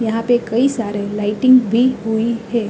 यहां पे कई सारे लाइटिंग भी हुई हैं।